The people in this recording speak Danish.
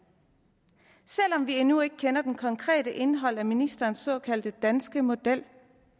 selv om vi endnu ikke kender det konkrete indhold af ministerens såkaldte danske model